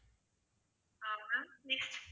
ah madam next